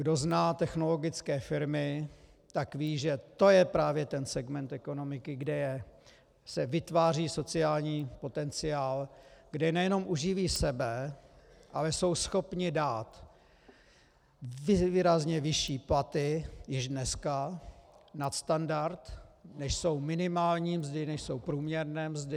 Kdo zná technologické firmy, tak ví, že to je právě ten segment ekonomiky, kde se vytváří sociální potenciál, kde nejenom uživí sebe, ale jsou schopni dát výrazně vyšší platy, již dneska nad standard, než jsou minimální mzdy, než jsou průměrné mzdy.